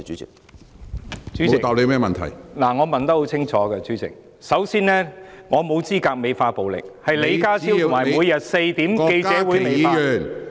主席，我的質詢很清楚，首先，我沒有資格美化暴力，是李家超及每天4時舉行的記者會美化......